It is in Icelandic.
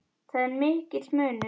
Þar er mikill munur.